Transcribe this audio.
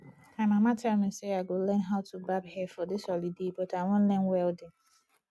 my mama tell me say i go learn how to barb hair for dis holiday but i wan learn welding